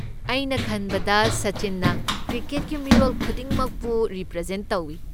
ꯑꯩꯅ ꯈꯟꯕꯗ ꯁꯆꯤꯟꯅ ꯀ꯭ꯔꯤꯀꯦꯠꯀꯤ ꯃꯤꯔꯣꯜ ꯈꯨꯗꯤꯡꯃꯛꯄꯨ ꯔꯤꯄ꯭ꯔꯖꯦꯟꯠ ꯇꯧ꯫